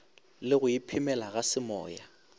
le go iphemela ga semoya